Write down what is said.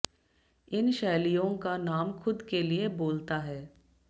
इन शैलियों का नाम खुद के लिए बोलता है